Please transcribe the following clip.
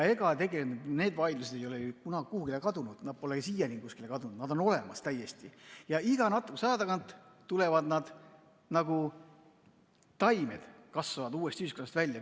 Ega need vaidlused ei ole kuhugi kadunud, nad pole siiani kuskile kadunud, nad on täiesti olemas ja iga natukese aja tagant nad nagu taimed kasvavad uuesti ühiskonnast välja.